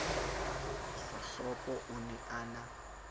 dikgohlopo o ne a na